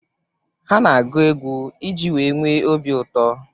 Ha na-agụ egwu i ji wee nwee obi ụtọ.